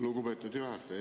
Lugupeetud juhataja!